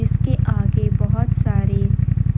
इसके आगे बहोत सारे